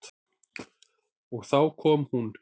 Og þá kom hún.